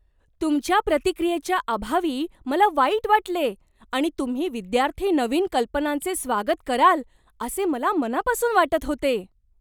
तुमच्या प्रतिक्रियेच्या अभावी मला वाईट वाटले आणि तुम्ही विद्यार्थी नवीन कल्पनांचे स्वागत कराल असे मला मनापासून वाटत होते.